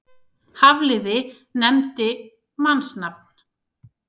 Hafliði nefndi mannsnafn.